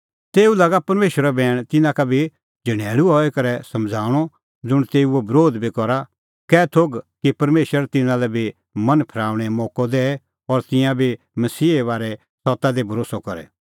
तेऊ लागा परमेशरो बैण तिन्नां का बी झणैल़ू हई करै समझ़ाऊंणअ ज़ुंण तेऊओ बरोध बी करा कै थोघ कि परमेशर तिन्नां लै बी मन फरेऊणें मोक्कअ दैए कि तिंयां बी मसीहे बारै सत्ता दी भरोस्सअ करे